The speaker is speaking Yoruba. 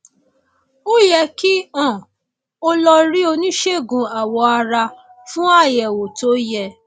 ó yẹ kí um o lọ rí oníṣègùn awọ ara fún àyẹwò tó yẹ